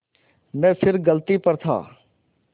मैं फिर गलती पर था